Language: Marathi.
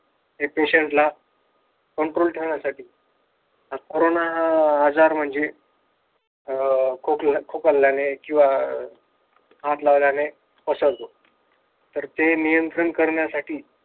हे patient ला control ठेवण्यासाठी पण कोरोना हा आजार म्हणजे खोकल खोकल्याने किंवा हात लावल्याने पसरतो तर ते नियंत्रण करण्यासाठी